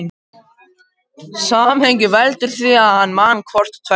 Samhengið veldur því að hann man hvort tveggja.